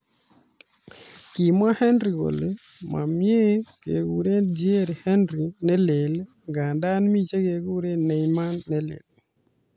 Kimwa Henry kole mamie kekure 'Thiery Henry ne leel' nganda mi chekure 'Neymar ne leel'